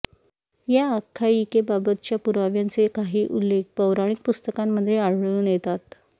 या आख्यायिकेबाबतच्या पुराव्यांचे काही उल्लेख पौराणिक पुस्तकांमध्ये आढळून येतात